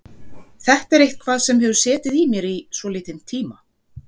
Þetta er eitthvað sem hefur setið í mér í svolítinn tíma.